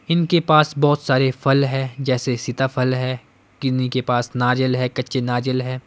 इनके पास बहोत सारे फल है जैसे सीताफल है किन्नी के पास नारियल है कच्चे नारियल है।